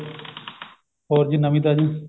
ਹੋਰ ਜੀ ਨਵੀਂ ਤਾਜੀ